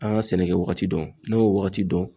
An ka sɛnɛkɛ waagati dɔn; n'an y'o waagati dɔn